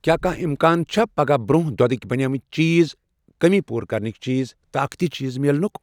کیٛاہ کانٛہہ امکان چھےٚ پگاہ برٛونٛہہ دۄدٕکؠ بَنیمٕتؠ چیٖز، کٔمی پوٗرٕ کرنٕکۍ چیٖز, طاقتی چیٖز مِلنُک؟